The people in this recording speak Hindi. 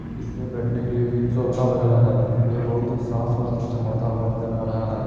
इसमें बैठने के लिए भी सोफा वगैरह है। ये बोहोत ही साफ़ और चमचमाता हुआ नज़र आ रहा है।